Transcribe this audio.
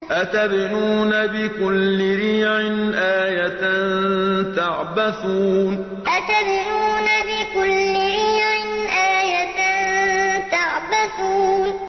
أَتَبْنُونَ بِكُلِّ رِيعٍ آيَةً تَعْبَثُونَ أَتَبْنُونَ بِكُلِّ رِيعٍ آيَةً تَعْبَثُونَ